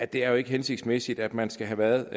det er jo ikke hensigtsmæssigt at man skal have været